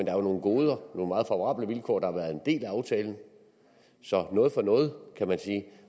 er jo nogle goder nogle meget favorable vilkår der har været en del af aftalen så noget for noget kan man sige